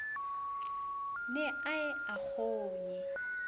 ne a ye a kgonye